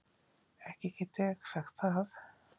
Ekki get ég sagt það.